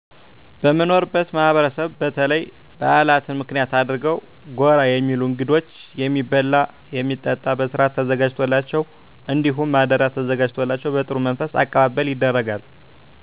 በምኖርበት ማህበረሰብ በተለይ ባህላትን ምክንያት አድርገው ጎራ የሚሉ እንግዶች የሚበላ የሚጠጣ በስርአት ተዘጋጅቶላቸው እንዲሁም ማደሪያ ተዘጋጅቶላቸው በጥሩ መንፈስ አቀባበል ይደረጋል።